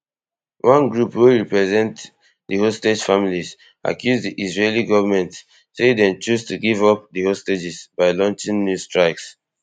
one group wey represent di hostage families accuse di israeli goment say dem choose to give up di hostages by launching new strikes